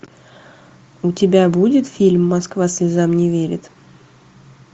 у тебя будет фильм москва слезам не верит